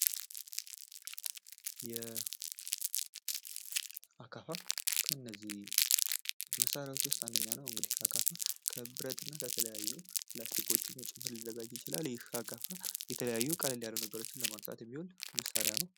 አካፋ ከነዚህ መሳሪያወች ውስጥ አንደኛ ነው እንግድህ ከብረትና ከተለያዩ ፕላስቲኮችም ጭምር ሊዘጋጅ ይችላል። አካፋ የተለያዩ ቀለል ያሉ ነገሮችን ለማንሳት የሚሆን መሳሪያ ነው።